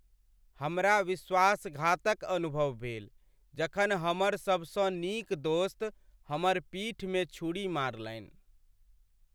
हमरा विश्वासघातक अनुभव भेल जखन हमर सभसँ नीक दोस्त हमर पीठमे छुरी मारलनि।